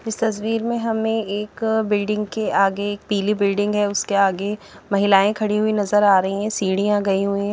इस तस्वीर में हमें एक बिल्डिंग के आगे एक पीली बिल्डिंग है उसके आगे महिलाएं खड़ी हुई नजर आ रही है सीढ़ियां गई हुई हैं।